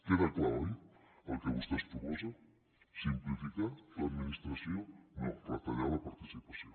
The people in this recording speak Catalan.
queda clar oi el que vostè proposen simplificar l’administració no retallar la participació